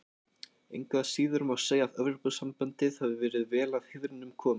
Engu að síður má segja að Evrópusambandið hafi verið vel að heiðrinum komið.